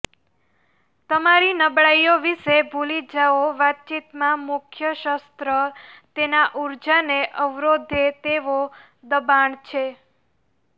તમારી નબળાઈઓ વિશે ભૂલી જાઓ વાતચીતમાં મુખ્ય શસ્ત્ર તેના ઊર્જાને અવરોધે તેવો દબાણ છે